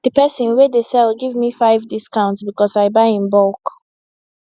d person wey dey sell give me 5 discount because i buy in bulk